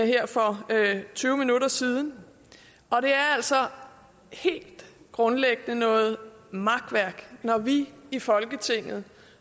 her for tyve minutter siden og det er altså helt grundlæggende noget makværk når vi i folketinget